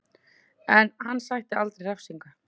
En hann sætti aldrei refsingu